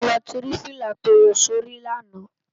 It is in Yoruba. Nibó ló ti rá filá tó wò si óri làná?